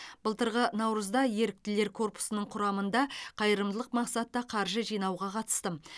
былтырғы наурызда еріктілер корпусының құрамында қайырымдылық мақсатта қаржы жинауға қатыстым